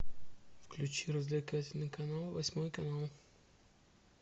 включи развлекательный канал восьмой канал